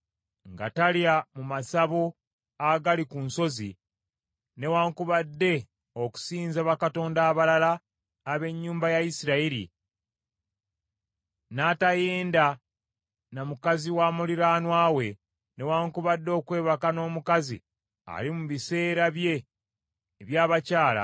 nga talya mu masabo agali ku nsozi newaakubadde okusinza bakatonda abalala ab’ennyumba ya Isirayiri; n’atayenda ne mukazi wa muliraanwa we, newaakubadde okwebaka n’omukazi ali mu biseera bye eby’abakyala;